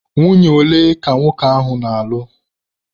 Nwunye ole ka nwoke ahụ na-alụ?